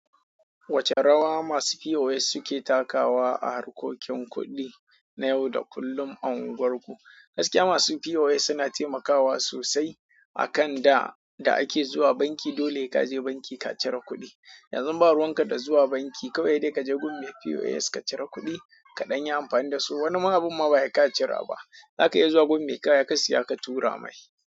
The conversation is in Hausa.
Wace rawa masu POS suke takawa a harkokin kuɗi na yau da kullum a unguwarku? Gaskiya masu POS suna taimakawa sosai akan da da ake zuwa banki dole ka je banki ka cire kuɗi. Yanzu ba ruwanka da zuwa banki kawai dai ka je gun me POS ka cire kuɗi ka dan yi amfani da su. Wani ma abin ma bai sai ka cira ba, zaka iya zuwa gun me kaya ka siya ka tura mai.